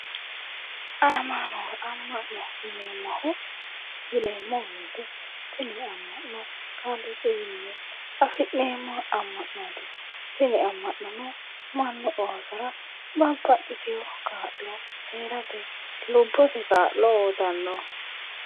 Ama'no, ama'no yinneemmo woyte tini ama'no kaaliiqiwinni afi'neemmo ama'noti ,tini ama'nono mannu oosora babbaxitino kaa'lo heerateni, lubbosi kaa'lo uyittano